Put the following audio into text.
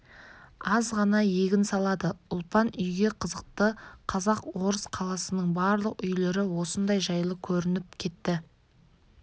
аз ғана егін салады ұлпан үйге қызықты қазақ-орыс қаласының барлық үйлері осындай жайлы көрініп кетті